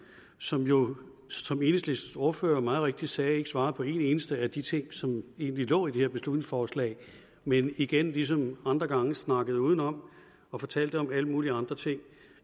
som jo som enhedslistens ordfører meget rigtigt sagde ikke svarer på en eneste af de ting som egentlig lå i det her beslutningsforslag men igen ligesom andre gange snakkede udenom og fortalte om alle mulige andre ting